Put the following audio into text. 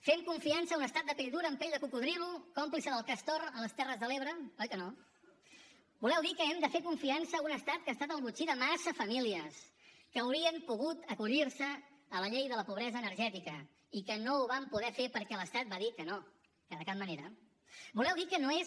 fem confiança a un estat de pell dura amb pell de cocodril còmplice del castor a les terres de l’ebre oi que no voleu dir que hem de fer confiança a un estat que ha estat el botxí de massa famílies que haurien pogut acollir se a la llei de la pobresa energètica i que no ho van poder fer perquè l’estat va dir que no que de cap manera voleu dir que no és